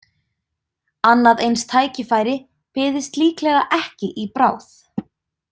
Annað eins tækifæri byðist líklega ekki í bráð.